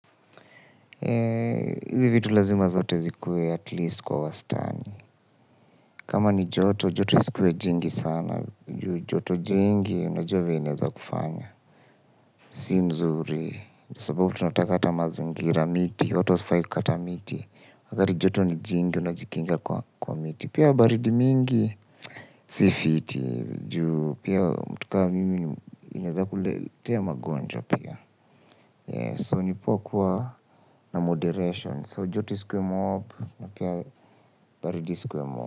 Hizi vitu lazima zote zikuwe at least kwa wastani. Kama ni joto, joto isikuwe jingi sana. Joto jingi unajua venye inaeza kufanya. Si mzuri. Sababu tunataka aramazingira miti. Watu hawafai kukata miti. Wakati joto ni jingi, unajikinga kwa miti. Pia baridi mingi, si fiti. Pia mtu kama mimi inaweza kuletea magonjwa pia. So, nipoa kuwa na moderation. So joti isikuwe mob na pia baridi isikuwe mob.